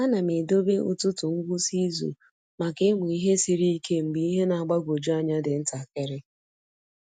A na m edobe ụtụtụ ngwụsị izu maka ịmụ ihe siri ike mgbe ihe na-agbagwoju anya dị ntakịrị.